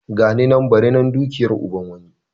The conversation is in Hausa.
Gani nan bari nan dukiyar uban wani.